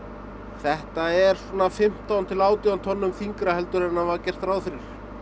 þetta er fimmtán til átján tonnum þyngra en var gert ráð fyrir